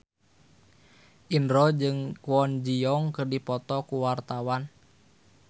Indro jeung Kwon Ji Yong keur dipoto ku wartawan